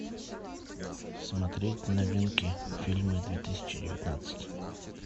смотреть новинки фильмы две тысячи девятнадцать